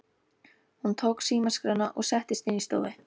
Hún tók símaskrána og settist inn í stofu.